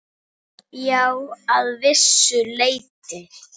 Já, að vissu leyti.